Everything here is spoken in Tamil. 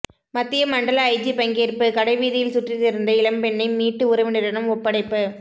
மத்திய மண்டல ஐஜி பங்கேற்பு கடைவீதியில் சுற்றி திரிந்த இளம்பெண்ணை மீட்டு உறவினரிடம் ஒப்படைப்பு